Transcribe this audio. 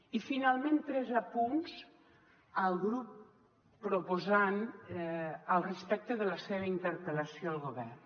i finalment tres apunts al grup proposant respecte de la seva interpel·lació al govern